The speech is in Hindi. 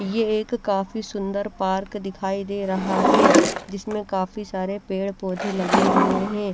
ये एक काफी सुन्दर पार्क दिखाई दे रहा है जिसमे काफी सारे पेड़ पोधे लगे हुए है।